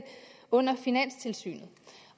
under finanstilsynet